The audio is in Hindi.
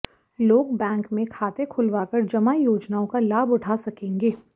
लोग बैंक में खाते खुलावा कर जमा योजनाआें का लाभ उठा सकेंगे